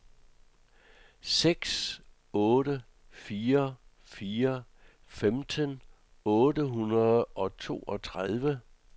seks otte fire fire femten otte hundrede og toogtredive